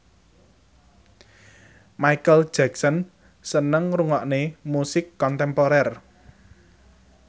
Micheal Jackson seneng ngrungokne musik kontemporer